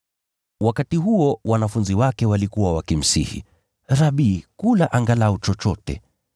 Wakati huo wanafunzi wake walikuwa wakimsihi, “Rabi, kula angalau chochote.”